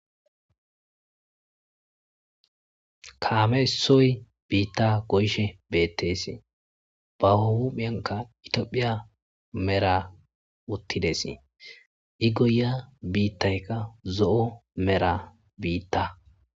Kame isoyi bitha goyishe betees ba huphiyanka ithophiya mera wotidesi igoyiya bitayika zo'o mera bitha